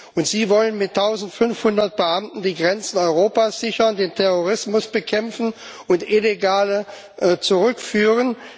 und Sie wollen mit 1500 Beamten die Grenzen Europas sichern, den Terrorismus bekämpfen und Illegale zurückführen!